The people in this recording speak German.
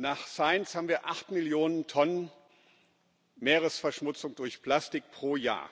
Nach Science haben wir acht Millionen Tonnen Meeresverschmutzung durch Plastik pro Jahr,